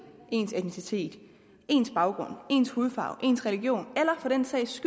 ens etnicitet ens baggrund ens hudfarve ens religion eller for den sags